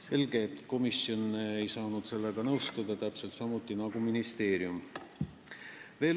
Selge, et komisjon ei saanud sellega nõustuda ja ministeerium ka mitte.